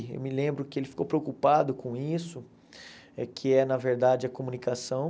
Eu me lembro que ele ficou preocupado com isso, que é, na verdade, a comunicação.